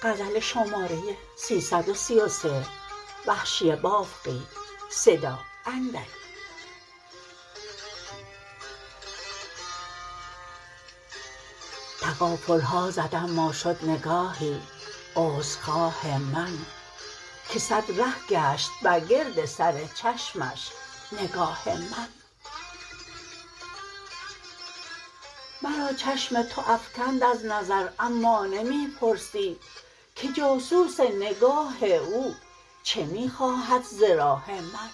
تغافلها زد اما شد نگاهی عذر خواه من که سد ره گشت بر گرد سر چشمش نگاه من مرا چشم تو افکند از نظر اما نمی پرسی که جاسوس نگاه او چه می خواهد ز راه من